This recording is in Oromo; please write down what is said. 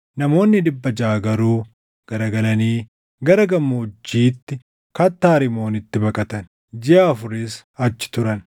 Namoonni dhibba jaʼa garuu garagalanii gara gammoojjiitti kattaa Rimoonitti baqatan; jiʼa afuris achi turan.